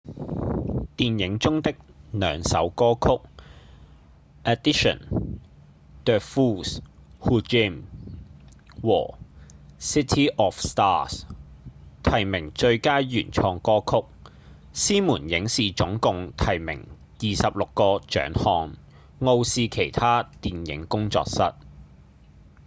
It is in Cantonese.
電影中的兩首歌曲〈audition the fools who dream〉和〈city of stars〉提名最佳原創歌曲獅門影視總共提名26個獎項傲視其他電影工作室